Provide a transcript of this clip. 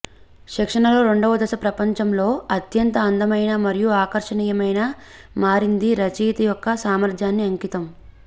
శిక్షణలో రెండవ దశ ప్రపంచంలో అత్యంత అందమైన మరియు ఆకర్షణీయమైన మారింది రచయిత యొక్క సామర్థ్యాన్ని అంకితం